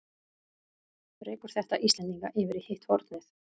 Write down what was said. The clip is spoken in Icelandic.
Rekur þetta Íslendinga yfir í hitt hornið?